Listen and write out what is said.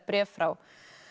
bréf frá